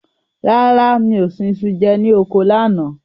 Rárá, mi ò sun iṣu jẹ ní oko lánàá.